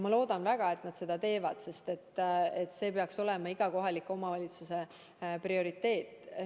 Ma loodan väga, et nad seda teevad, sest see peaks olema iga kohaliku omavalitsuse prioriteet.